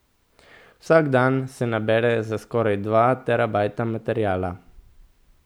Vsak dan se nabere za skoraj dva terabajta materiala.